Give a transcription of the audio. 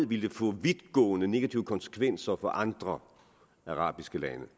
ville få vidtgående negative konsekvenser for andre arabiske lande